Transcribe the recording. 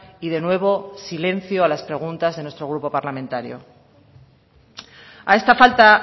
y de nuevo silencio a las preguntas de nuestro grupo parlamentario a esta falta